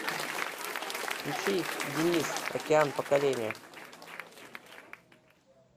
включи денис океан поколение